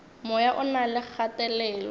moya o na le kgatelelo